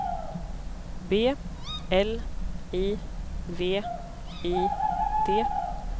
B L I V I T